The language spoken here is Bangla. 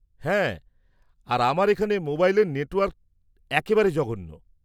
-হ্যাঁ আর আমার এখানে মোবাইলের নেটওয়ার্কটা একেবারে জঘন্য।